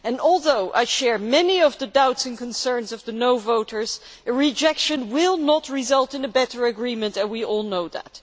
Although I share many of the doubts and concerns of the no' voters, rejection will not result in a better agreement and we all know that.